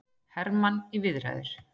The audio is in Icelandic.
Hermann í viðræður